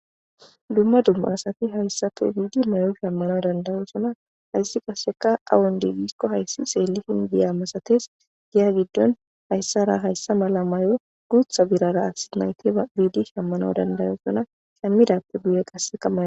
dumma dumma asati hayssafe biidi mayo shammano dandayosona hayssi qaseka awundibisko hayssi xeelli hindiya masates giya giddon hayssara hayssa mala may7o guutha birara asi nayti a biidi shammano dandayosona hammidappe guye qasse kamman